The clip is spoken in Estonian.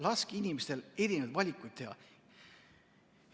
Laske inimestel erinevaid valikuid teha!